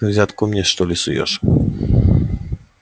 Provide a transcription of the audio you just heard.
ты взятку мне что ли суёшь